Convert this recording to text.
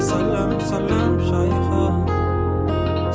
сәлем сәлем жайығым